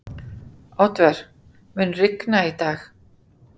Oddvör, mun rigna í dag?